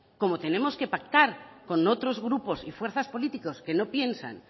como tenernos que pactar con otros grupos y fuerzas políticas que no piensan